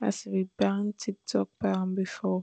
as e bin back tktok ban bifor